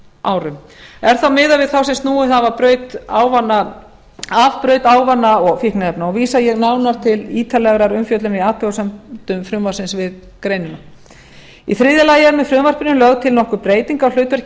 árum er þá miðað við þá sem snúið hafa af braut ávana og fíkniefna vísa ég nánar til ítarlegrar umfjöllunar í athugasemdum frumvarpsins við greinina í þriðja lagi er með frumvarpinu lögð til nokkur breyting á hlutverki